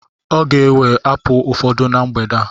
Ọ ga-ewe apulu ụfọdụ na mgbede a.